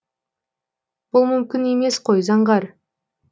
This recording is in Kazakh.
бұл мүмкін емес қой заңғар